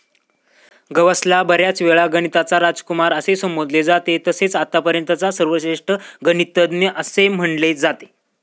गौसला बऱ्याच वेळा गणिताचा राजकुमार असे संबोधले जाते तसेच आत्तापर्यंतचा सर्वश्रेष्ठ गणितज्ञ असे म्हणले जाते.